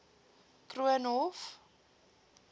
koornhof